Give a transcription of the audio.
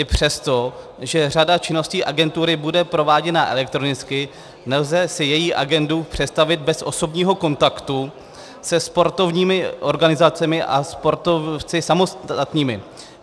I přesto, že řada činností agentury bude prováděna elektronicky, nelze si její agendu představit bez osobního kontaktu se sportovními organizacemi a sportovci samostatnými.